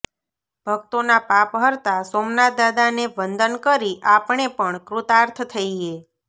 ભક્તોના પાપ હરતા સોમનાથદાદાને વંદન કરી આપણે પણ કૃતાર્થ થઈએ